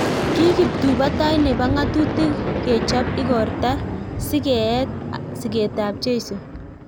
Ki kiptuipotoi nepoo ngatutik kechop igortat sikeet ap jeiso